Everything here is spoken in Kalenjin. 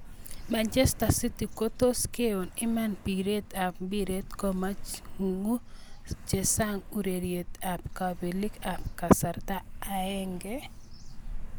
Manchester City kotos keon eng piret ab mbiret komako chesan eng ureriet ab kapelik eng kasarta aenge.